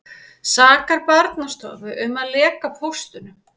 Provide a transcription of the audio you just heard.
Sakar Barnaverndarstofu um að leka póstunum